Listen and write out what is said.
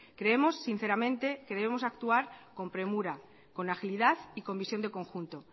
creemos sinceramente que debemos actuar con premura con agilidad y con visión de conjunto